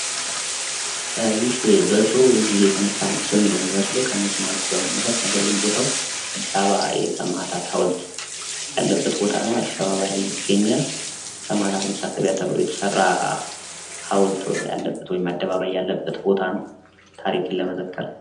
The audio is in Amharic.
ይህ በድሮ ጊዜ የተነሳ ምስል ነው የሚመስለው ከመኪናዎቹ በመነሳት ነገር ግን ቦታው አዲስ አበባ የሰማዕታት ሀውልት ያለበት ቦታ ነው። አዲስ አበባ ላይ ይገኛል። ሰማዕታት መታሰቢያ ተብሎ የተሰራ ሀውልት ያለበት ወይም አደባባይ ያለበት ቦታ ነው ታሪክን ለመዘከር።